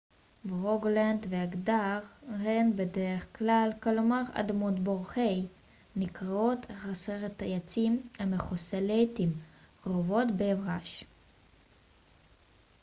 "ברוגלנד ואגדר הן בדרך כלל נקראות "hei" כלומר אדמת בור חסרת עצים המכוסה לעתים קרובות באברש.